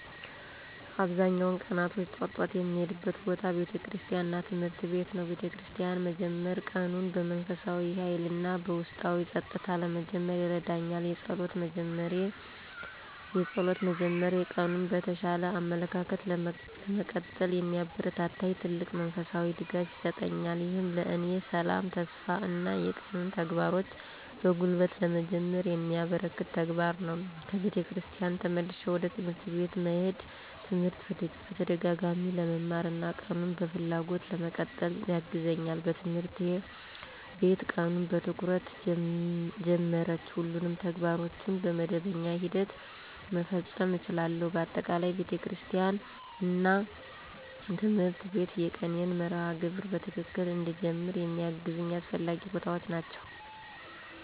አብዛኛውን ቀናቶች ጠዋት ጠዋት የምሄድበት ቦታ ቤተክርስቲያን እና ትምህርት ቤት ነው። በቤተክርስቲያን መጀመር ቀኑን በመንፈሳዊ ኃይል እና በውስጣዊ ጸጥታ ለመጀመር ይረዳኛል። የጸሎት መጀመሬ ቀኑን በተሻለ አመለካከት ለመቀጠል የሚያበረታታኝ ትልቅ መንፈሳዊ ድጋፍ ይሰጠኛል። ይህም ለእኔ ሰላም፣ ተስፋ እና የቀኑን ተግባሮች በጉልበት ለመጀመር የሚያበረከት ተግባር ነው። ከቤተክርስቲያን ተመልሼ ወደ ትምህርት ቤት መሄዴ ትምህርት በተደጋጋሚ ለመማር እና ቀኑን በፍላጎት ለመቀጠል ያግዛኛል። በትምህርት ቤት ቀኑን በትኩረት ጀመርቼ ሁሉንም ተግባሮቼን በመደበኛ ሂደት መፈጸም እችላለሁ። በአጠቃላይ፣ ቤተክርስቲያን እና ትምህርት ቤት የቀኔን መርሃ ግብር በትክክል እንድጀመር የሚያግዙ አስፈላጊ ቦታዎች ናቸው።